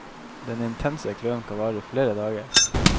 Den intense kløen kan vare i flere dager.